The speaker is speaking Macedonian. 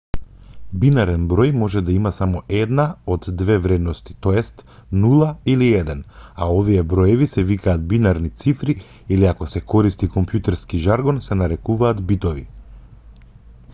бинарен број може да има само една од две вредности т.е. 0 или 1 а овие броеви се викаат бинарни цифри или ако се користи компјутерски жаргон се нарекуваат битови